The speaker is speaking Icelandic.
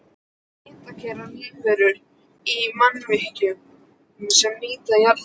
Hitakærar lífverur í mannvirkjum sem nýta jarðhita